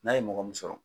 N'a ye mɔgɔ min sɔrɔ